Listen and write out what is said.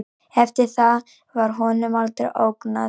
Eftir það var honum aldrei ógnað